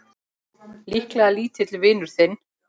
Líklega lítill vinur þinn!